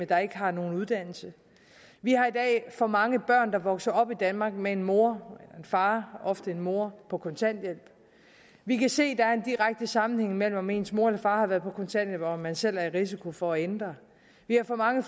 der ikke har nogen uddannelse vi har i dag for mange børn der vokser op i danmark med en mor eller far ofte en mor på kontanthjælp vi kan se at der er en direkte sammenhæng mellem om ens mor eller far har været på kontanthjælp og om man selv er i risiko for at ende der vi har for mange